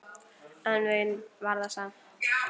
En vein var það samt.